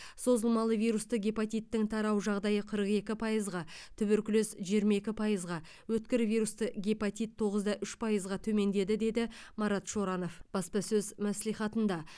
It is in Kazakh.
созылмалы вирусты гепатиттің тарау жағдайы қырық екі пайызға туберкулез жиырма екі пайызға өткір вирусты гепатит тоғыз да үш пайызға төмендеді деді марат шоранов баспасөз мәслихатында